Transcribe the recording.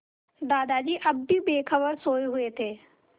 दादाजी अब भी बेखबर सोये हुए थे